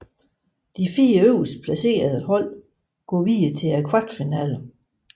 De 4 øverst placerede hold går videre til kvartfinalerne